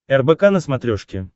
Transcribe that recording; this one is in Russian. рбк на смотрешке